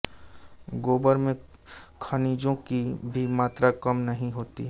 गोबर में खनिजों की भी मात्रा कम नहीं होती